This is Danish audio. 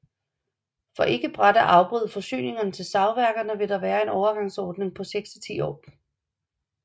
For ikke brat at afbryde forsyningerne til savværkerne vil der være en overgangsordning på seks til ti år